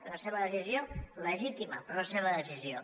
és la seva decisió legítima però és la seva decisió